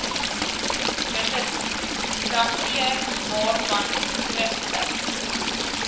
registrateur vooraf skriftelik